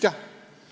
" Ta ütles jah.